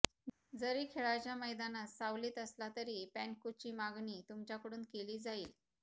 जरी खेळाच्या मैदानात सावलीत असला तरीही पॅनक्कुची मागणी तुमच्याकडून केली जाईल